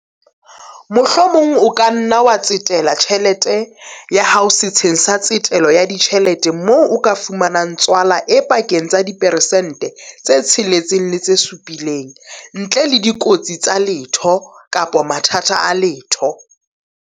Mohlomong o ka nna wa tsetela tjhelete ya hao setsheng sa tsetelo ya ditjhelete moo o ka fumanang tswala e pakeng tsa diperesente tse 6 le tse 7 ntle le dikotsi tsa letho kapa mathata a letho.